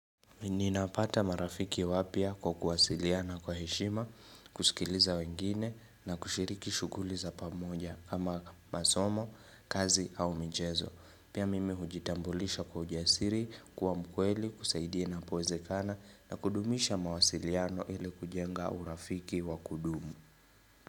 Ninapata marafiki wapya kwa kuwasiliana kwa heshima, kusikiliza wengine na kushiriki shuguli za pamoja kama masomo, kazi au michezo. Pia mimi hujitambulisha kwa ujasiri, kuwa mkweli, kusaidia inapowezekana na kudumisha mawasiliano ili kujenga urafiki wa kudumu.